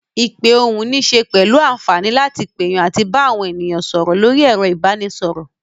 Ìpè ohùn níṣe pẹ̀lú àǹfààní láti pèyàn àti bá àwọn ènìyàn sọ̀rọ̀ lórí ẹ̀rọ ìbanisọ̀rọ̀.